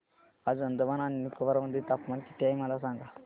आज अंदमान आणि निकोबार मध्ये तापमान किती आहे मला सांगा